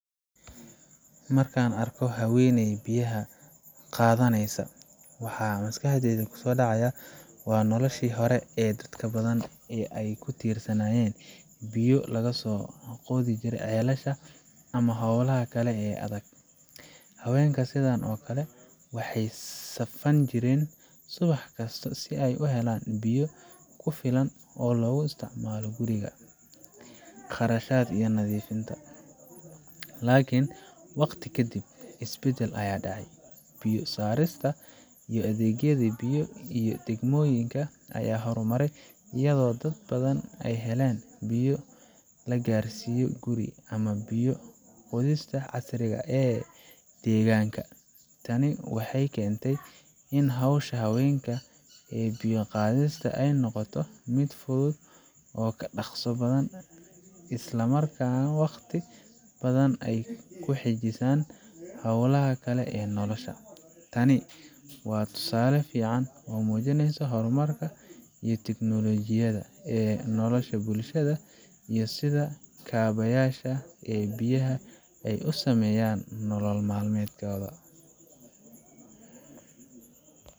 Marka aan arko haweeney biyaha qaadanaysa, waxa maskaxdayda ku soo dhacaya noloshii hore ee dad badan ay ku tiirsanaayeen biyo ka soo qodi jirey ceelasha ama hawlaha kale ee adag. Haweenka sidaan oo kale waxay safan jireen subax kasta si ay u helaan biyo ku filan oo loogu isticmaalo guriga, karsashada, iyo nadiifinta. Laakiin waqti ka dib, isbeddel ayaa dhacay. Biyo saarista iyo adeegyada biyaha ee degmooyinka ayaa horumaray, iyadoo dad badan ay heleen biyo la gaarsiiyo guriga, ama biyo qodista casriga ah ee deegaanka. Tani waxay keentay in hawsha haweenka ee biyo qaadista ay noqoto mid fudud oo ka dhaqso badan, isla markaana waqti badan ay u xajisaan hawlaha kale ee nolosha. Tani waa tusaale fiican oo muujinaya horumarka iyo teknolojiyada ee nolosha bulshada iyo sida kaabayaasha ee biyaha ay u saameeyeen nolol maalmeedka.